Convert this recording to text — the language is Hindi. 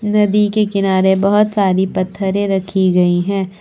नदी के किनारे बहोत सारी पत्थरें रखी गई हैं।